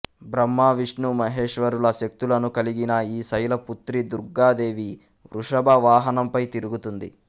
బ్రహ్మ విష్ణు మహేశ్వరుల శక్తులను కలిగిన ఈ శైలపుత్రీ దుర్గా దేవి వృషభవాహనంపై తిరుగుతుంది